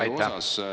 Aitäh!